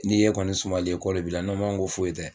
Ni e kɔni sumalen ye ko le b'i la n m'a ko foyi tɛ.